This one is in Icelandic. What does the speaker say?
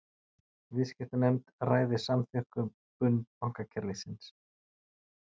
Viðskiptanefnd ræði samþjöppun bankakerfisins